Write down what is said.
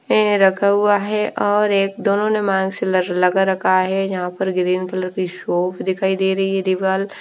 हैं रखा हुआ है और एक दोनों ने मांग से ल लगा रखा है जहाँ पर ग्रीन कलर की शॉप दिखाई दे रही है दीवाल ।